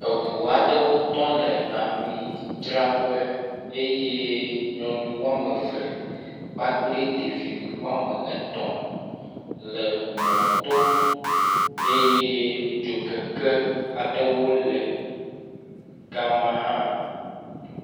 Eŋu aɖe tɔ le ami dzraƒe eye nyɔnu woameve kpakple ɖevi woametɔ le mɔto eye dzokeke aɖewo le gama hã